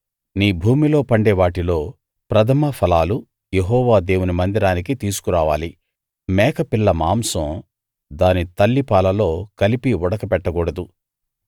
నీ భూమిలో పండే వాటిలో ప్రథమ ఫలాలు యెహోవా దేవుని మందిరానికి తీసుకురావాలి మేకపిల్ల మాంసం దాని తల్లిపాలలో కలిపి ఉడకబెట్ట కూడదు